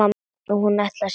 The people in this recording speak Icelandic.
Og hún ætlar sér burt.